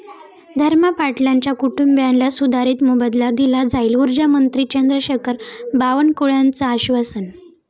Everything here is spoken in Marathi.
धर्मा पाटलांच्या कुटुंबीयांना सुधारित मोबदला दिला जाईल, उर्जामंत्री चंद्रशेखर बावनकुळेंचं आश्वासन